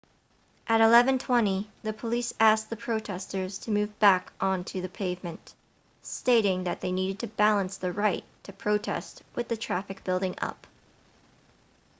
at 11:20 the police asked the protesters to move back on to the pavement stating that they needed to balance the right to protest with the traffic building up